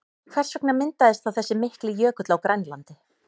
Hvers vegna myndaðist þá þessi mikli jökull á Grænlandi?